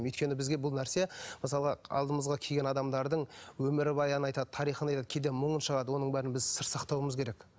өйткені бізге бұл нәрсе мысалы алдымызға келген адамдардың өмірбаянын айтады тарихын айтады кейде мұңын шағады оның бәрін біз сыр сақтауымыз керек